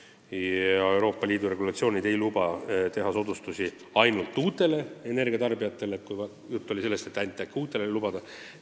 Ja Euroopa Liidu regulatsioonid ei luba teha soodustusi ainult uutele energiatarbijatele – jutt oli sellest, et ainult uutele seda lubada.